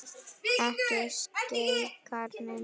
Ekki skeikar neinu.